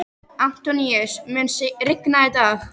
Antóníus, mun rigna í dag?